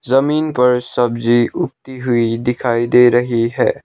जमीन पर सब्जी उगती हुई दिखाई दे रही है।